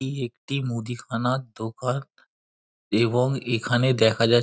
এই একটি মুদিখানার দোকান এবং এখানে দেখা যা --